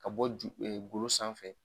Ka bɔ ju golo sanfɛ